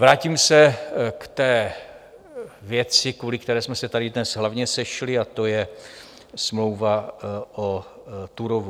Vrátím se k té věci, kvůli které jsme se tady dnes hlavně sešli, a to je smlouva o Turówu.